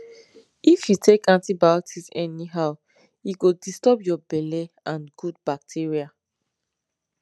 if you take antibiotics anyhow e go disturb your belle and good bacteria